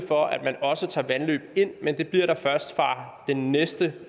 for at man også tager vandløb ind men det bliver der først fra den næste